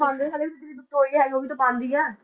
ਪਾਉਂਦੇ ਸਾਰੇ ਵਿਕਟੋਰੀਆ ਹੈਗੀ ਉਹ ਵੀ ਤਾਂ ਪਾਉਂਦੀ ਹੈ।